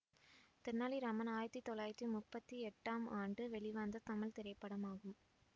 தெனாலி ராமன் ஆயிரத்தி தொள்ளாயிரத்தி முப்பத்தி எட்டாம் ஆண்டு வெளிவந்த தமிழ் திரைப்படமாகும்